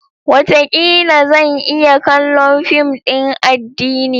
Wataƙila! Zan iya kallon fim din addini.